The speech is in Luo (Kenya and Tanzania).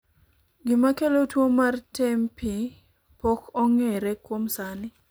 gima kelo tuo mar tempi pok ong'ere kuom sani